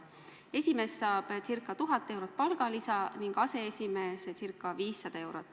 Esimees saab ca 1000 eurot palgalisa ning aseesimees ca 500 eurot.